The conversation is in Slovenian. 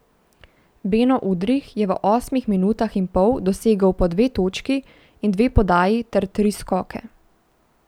Beno Udrih je v osmih minutah in pol dosegel po dve točki in dve podaji ter tri skoke.